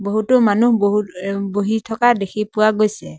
বহুতো মানুহ বহু ৰ বহি থকা দেখি পোৱা গৈছে।